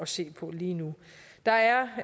se på lige nu der er